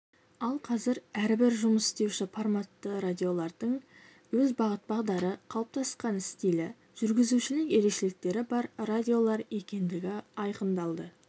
ал қазір әрбір жұмыс істеуші форматты радиолардың өз бағыт-бағдары қалыптасқан стилі жүргізушілік ерекшеліктері бар радиолар екендігі айқындалды